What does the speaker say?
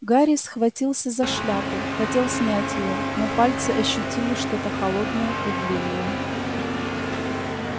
гарри схватился за шляпу хотел снять её но пальцы ощутили что-то холодное и длинное